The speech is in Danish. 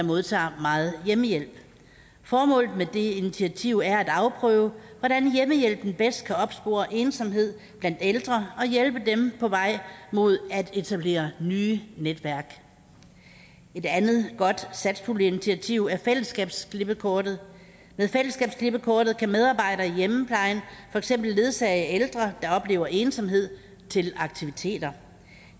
modtager meget hjemmehjælp formålet med det initiativ er at afprøve hvordan hjemmehjælpen bedst kan opspore ensomhed blandt ældre og hjælpe dem på vej mod at etablere nye netværk et andet godt satspuljeinitiativ er fællesskabsklippekortet med fællesskabsklippekortet kan medarbejdere i hjemmeplejen for eksempel ledsage ældre der oplever ensomhed til aktiviteter